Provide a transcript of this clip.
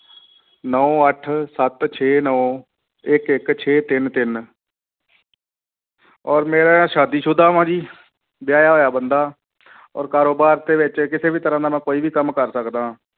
ਨੋਂ ਅੱਠ ਸੱਤ ਛੇ ਨੋਂ ਇੱਕ ਇੱਕ ਛੇ ਤਿੰਨ ਤਿੰਨ ਔਰ ਮੇਰਾ ਸ਼ਾਦੀ ਸੁਦਾ ਵਾਂ ਜੀ ਵਿਆਹਿਆ ਹੋਇਆ ਬੰਦਾ ਔਰ ਕਾਰੋਬਾਰ ਦੇ ਵਿੱਚ ਕਿਸੇ ਵੀ ਤਰ੍ਹਾਂ ਦਾ ਮੈਂ ਕੋਈ ਵੀ ਕੰਮ ਕਰ ਸਕਦਾ ਹਾਂ,